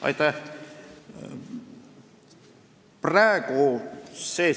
Aitäh!